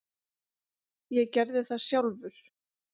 Ég gerði það sjálfur.